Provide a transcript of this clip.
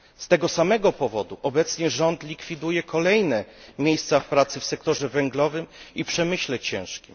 Z tego samego powodu obecnie rząd likwiduje kolejne miejsca pracy w sektorze węglowym i przemyśle ciężkim.